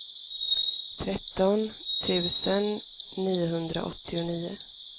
tretton tusen niohundraåttionio